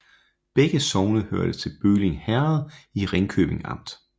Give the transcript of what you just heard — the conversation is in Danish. Begge sogne hørte til Bølling Herred i Ringkøbing Amt